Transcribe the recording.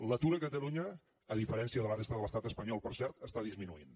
l’atur a catalunya a diferència de la resta de l’estat espanyol per cert està disminuint